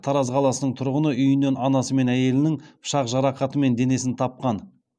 тараз қаласының тұрғыны үйінен анасы мен әйелінінің пышақ жарақатымен денесін тапқан